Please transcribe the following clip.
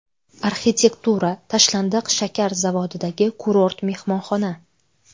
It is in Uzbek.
Arxitektura: Tashlandiq shakar zavodidagi kurort mehmonxona .